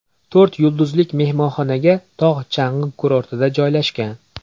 To‘rt yulduzlik mehmonxona tog‘-chang‘i kurortida joylashgan.